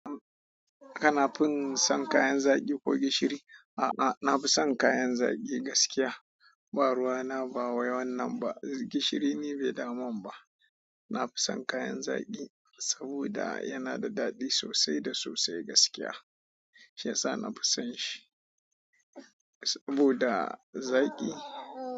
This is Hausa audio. Kana fin son kayan zaki ko gishiri? A'a, na fi son kayan zaki gaskiya. Ba ruwa na ba wai wannan ba. Gishiri ni bai damu ba. Na fi son kayan zaki saboda yana da daɗi sosai da sosai gaskiya. Shiyasa nafi son shi. Saboda zaki.